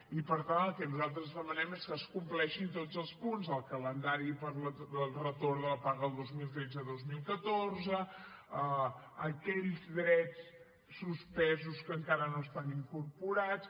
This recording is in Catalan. i per tant el que nosaltres demanem és que es compleixin tots els punts del calendari per al retorn de la paga dos mil tretze dos mil catorze aquells drets suspesos que encara no estan incorporats